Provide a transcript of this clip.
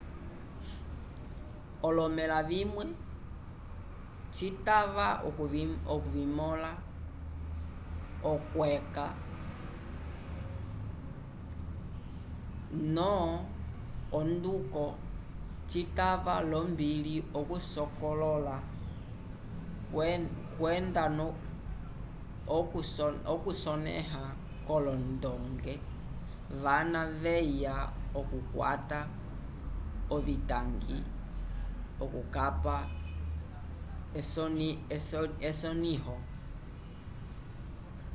olomela vimwe citava okuvimola okweca no onduko cikala lombili okusokolola kwendanokusoneha kolondonge vana veya okukwata ovitangui okukapa esoniho